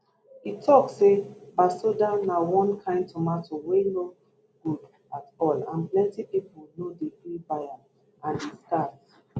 e tok say basoda na one kain tomato wey no good at all and plenty pipo no dey gree buy am and e scarce